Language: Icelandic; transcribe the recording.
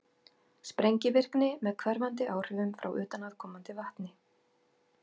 sprengivirkni með hverfandi áhrifum frá utanaðkomandi vatni